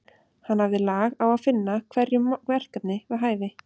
Hann hafði lag á að finna hverjum verkefni við hæfi.